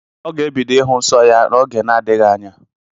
Ọ ga-ebido ịhụ nsọ ya oge n'adịghị anya.